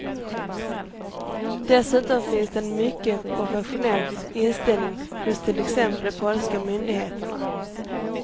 Dessutom finns det en mycket professionell inställning hos till exempel de polska myndigheterna.